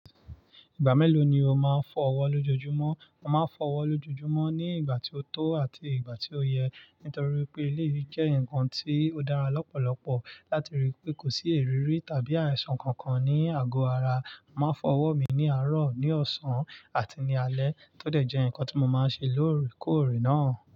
Ìgbà mélòó ni o máa ń fọ ọwọ́ lójoojúmọ́? Mo máa ń fọ ọwọ́ lójoojúmọ́ ní ìgbà tí ó tó àti ìgbà tí ó yẹ. Nítorí pé, léyìí jẹ́ nǹkan tí ó dára lọ́pọ̀lọpọ̀ láti rí pé kò sí èrírí tàbí àìsàn kankan ní àgọ́ ara. Mo máa ń fọ ọwọ́ mi ní àárọ̀, ní ọ̀sán àti ní alẹ́ tó dẹ̀ jẹ́ nǹkan tí mo máa ń ṣe lóòrèkóòrè náà.